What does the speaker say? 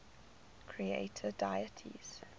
creator deities